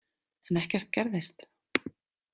En ekkert gerðist.